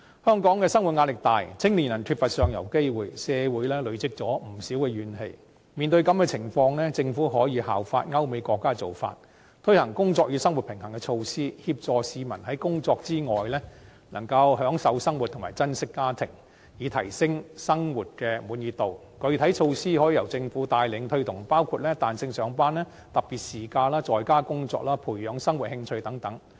香港生活壓力大，青年人缺乏上游機會，社會累積不少怨氣，面對這種情況，政府可以效法歐美國家的做法，推行"工作與生活平衡"措施，協助市民在工作之外，能夠享受生活及珍惜家庭，以提升生活的滿意度，具體措施可以由政府帶領推動，包括：彈性上班、特別事假、在家工作、培養生活興趣等。